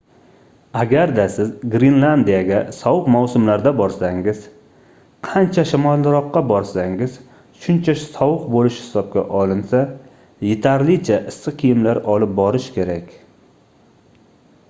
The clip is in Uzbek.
agarda siz grenlandiyaga sovuq mavsumlarda borsangiz qancha shimolroqqa borsangiz shuncha sovuq bo'lishi hisobga olinsa yetarlicha issiq kiyimlar olib borish kerak